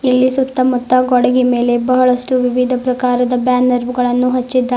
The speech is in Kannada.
ಇಲ್ಲಿ ಸುತ್ತಮುತ್ತ ಗೋಡೆಗೆ ಮೇಲೆ ಬಹಳಷ್ಟು ವಿವಿಧ ಪ್ರಕಾರಗಳ ಬ್ಯಾನರ್ ಬಿ ಹಚ್ಚಿದ್ದಾರೆ.